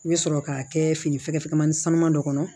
I bɛ sɔrɔ k'a kɛ fini fɛgɛfɛmanin sanuman dɔ kɔnɔ